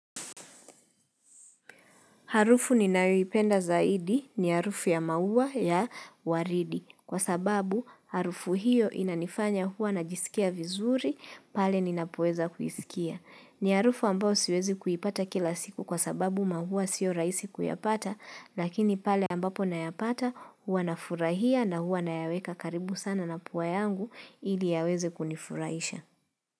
Harufu ninayoipenda zaidi ni harufu ya maua ya waridi. Kwa sababu harufu hiyo inanifanya huwa najisikia vizuri, pale ninapoweza kuisikia. Ni harufu ambayo siwezi kuipata kila siku kwa sababu maua siyo rahisi kuyapata, lakini pale ambapo nayapata huwa nafurahia na huwa nayaweka karibu sana na pua yangu ili yaweze kunifurahisha.